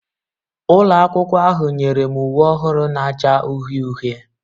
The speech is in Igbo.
Ụlọ akwụkwọ ahụ nyere m uwe ọhụrụ na-acha uhie uhie